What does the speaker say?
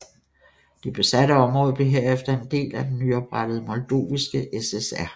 Det besatte område blev herefter en del af den nyoprettede Moldoviske SSR